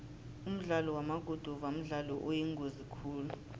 umdlalo wamaguduva mdlalo oyingozi khulu